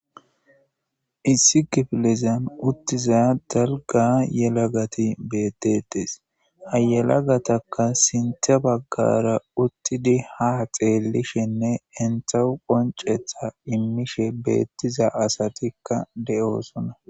issi gifilizam uttiza dalga yelagati bettetes hayelagataka sintha baggara uttidi ha xeellishenne enthau qoncetha immishe beettiza asatikka de7oosona